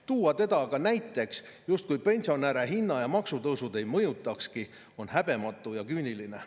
Tuua teda aga näiteks, justkui pensionäre hinna- ja maksutõusud ei mõjutakski, on häbematu ja küüniline.